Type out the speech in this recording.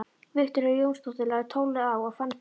Viktoría Jónsdóttir lagði tólið á og fann fyrir unaði.